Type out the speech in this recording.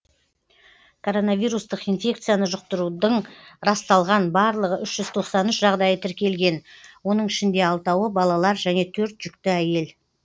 коронавирустық инфекцияны жұқтырудың расталған барлығы үш жүз тоқсан үш жағдайы тіркелген оның ішінде алтауы балалар және төрт жүкті әйел